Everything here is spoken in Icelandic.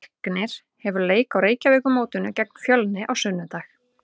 Leiknir hefur leik á Reykjavíkurmótinu gegn Fjölni á sunnudag.